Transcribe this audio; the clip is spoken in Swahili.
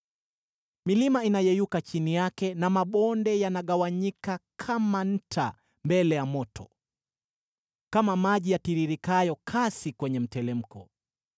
Milima inayeyuka chini yake na mabonde yanagawanyika kama nta mbele ya moto, kama maji yatiririkayo kasi kwenye mteremko.